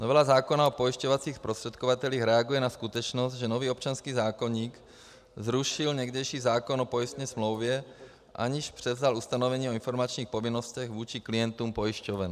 Novela zákona o pojišťovacích zprostředkovatelích reaguje na skutečnost, že nový občanský zákoník zrušil někdejší zákon o pojistné smlouvě, aniž převzal ustanovení o informačních povinnostech vůči klientům pojišťoven.